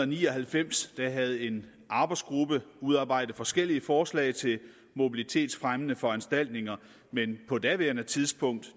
ni og halvfems havde en arbejdsgruppe udarbejdet forskellige forslag til mobilitetsfremmende foranstaltninger men på daværende tidspunkt